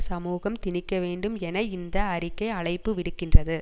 சமூகம் திணிக்க வேண்டும் என இந்த அறிக்கை அழைப்பு விடுக்கின்றது